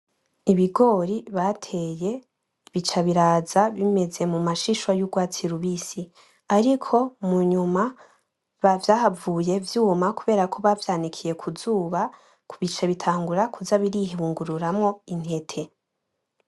Ibigori bateye bica biraza bimeze mu mashishwa bimeze nk’ugwatsi rubisi , ariko munyuma vyahavuye vyuma kuberako bavyanikiye kuzuba bica bitangura kuza birihungururamwo intete.